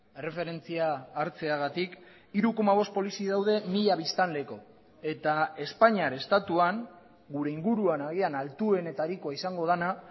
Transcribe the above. erreferentzia hartzeagatik hiru koma bost polizi daude mila biztanleko eta espainiar estatuan gure inguruan agian altuenetarikoa izango dena